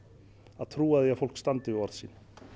að trúa því að fólk standi við orð sín